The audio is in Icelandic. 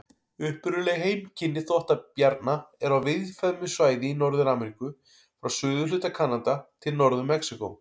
Upprunaleg heimkynni þvottabjarna eru á víðfeðmu svæði í Norður-Ameríku, frá suðurhluta Kanada til Norður-Mexíkó.